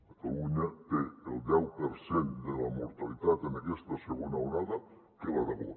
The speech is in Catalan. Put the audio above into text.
catalunya té el deu per cent de la mortalitat en aquesta segona onada que l’aragó